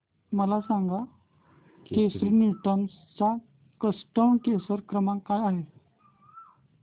मला सांगा केसरी टूअर्स चा कस्टमर केअर क्रमांक काय आहे